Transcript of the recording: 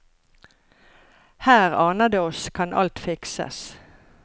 Her, aner det oss, kan alt fikses.